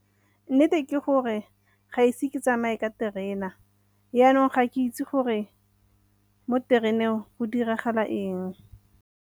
Nnete ke gore ga ise ke tsamaye ka terena yanong ga ke itse gore mo tereneng go diragala eng.